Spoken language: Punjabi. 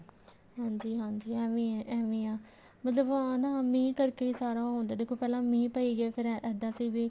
ਹਾਂਜੀ ਹਾਂਜੀ ਏਵੀ ਆ ਏਵੀ ਹੀ ਆ ਮਤਲਬ ਆਹ ਨਾ ਮੀਂਹ ਕਰਕੇ ਸਾਰਾ ਹੁੰਦਾ ਦੇਖੋ ਪਹਿਲਾਂ ਮੀਂਹ ਪਈ ਗਿਆ ਫ਼ੇਰ ਇੱਦਾਂ ਸੀ ਵੀ